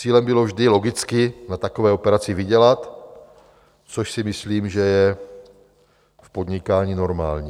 Cílem bylo vždy logicky a takové operaci vydělat, což si myslím, že je v podnikání normální.